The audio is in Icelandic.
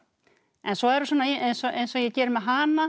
en svo er eins og eins og ég geri með hana